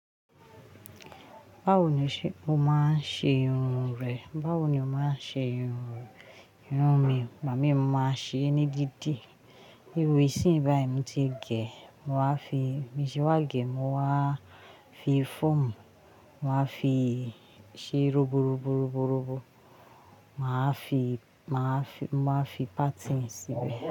Báwo ni o ṣe máa ń ṣe irun rẹ? Báwo ni o ṣe máa ń ṣe irun mi? Ìgbà mii mo máa ń ṣe ní dídí. Irú ìsìnyìí báyìí mo ti gẹ̀, mo máa fi, bin ṣe wá gẹ̀, mo máa fi fọ́ọ̀mù, mo máa fi ṣe ro robo robo robo robo, mo máa wa fi páátìni sí bẹ́ẹ̀.